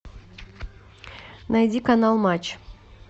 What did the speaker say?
найди канал матч